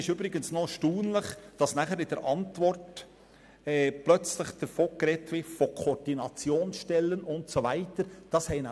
Übrigens ist es erstaunlich, dass in der Antwort von Koordinationsstellen und so weiter gesprochen wird.